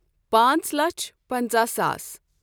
پانٛژھ لچھ پَنژاہ ساس۔